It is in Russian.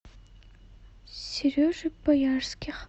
сережи боярских